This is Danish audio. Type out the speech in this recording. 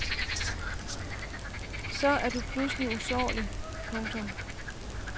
Så er du pludselig usårlig. punktum